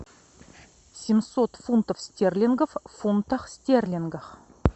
семьсот фунтов стерлингов в фунтах стерлингов